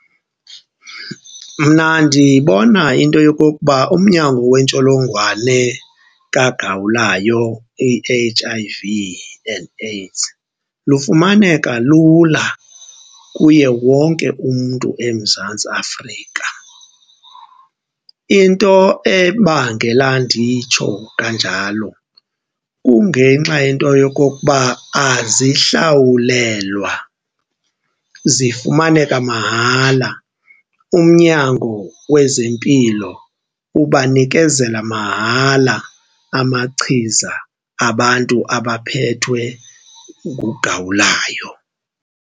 Mna ndibona into yokokuba umnyango wentsholongwane kagawulayo i-H_I_V and AIDS lufumaneka lula kuye wonke umntu eMzantsi Afrika. Into ebangela nditsho kanjalo kungenxa yento yokokuba azihlawulelwa zifumaneka mahala, umnyango wezempilo ubanikezela mahala amachiza abantu abaphethwe ngugawulayo.